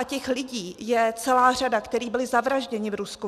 A těch lidí je celá řada, kteří byli zavražděni v Rusku.